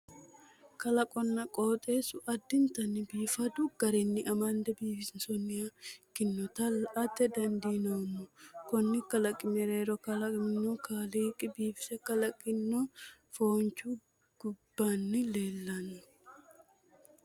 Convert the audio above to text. Kalaqonna qooxeessu addintanni biifadu garinni amande biifinsoonniha ikkinota la'ate dandiinoommo. Konni kalaqi mereero kalaqamunni kaaliqi biifise kalaqino foonchi kubbanni leellanno.